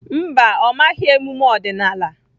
Mba, ọ maghị emume ọdịnala.